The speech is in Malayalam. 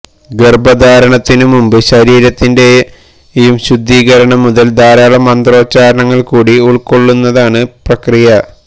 ഗർഭധാരണത്തിനു മുമ്പ് ശരീരത്തിന്റെയും ശുദ്ധീകരണം മുതല് ധാരാളം മന്ത്രോച്ചാരണങ്ങള് കൂടി ഉള്ക്കൊള്ളുന്നതാണ് പ്രക്രിയ